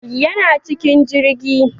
Yana cikin jirgi